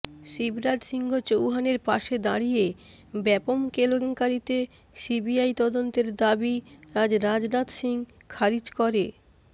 শিবরাজ সিংহ চৌহানের পাশে দাঁড়িয়ে ব্যপম কেলেঙ্কারিতে সিবিআই তদন্তের দাবি আজ রাজনাথ সিংহ খারিজ করে